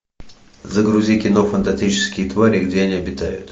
загрузи кино фантастические твари и где они обитают